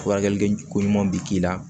Furakɛlikɛko ɲuman bɛ k'i la